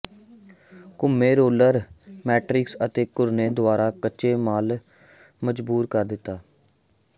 ਘੁੰਮੇ roller matrix ਦੇ ਘੁਰਨੇ ਦੁਆਰਾ ਕੱਚੇ ਮਾਲ ਮਜਬੂਰ ਕਰ ਦਿੱਤਾ